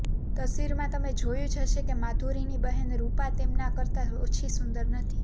તસવીરમાં તમે જોયું જ હશે કે માધુરીની બહેન રુપા તેમના કરતા ઓછી સુંદર નથી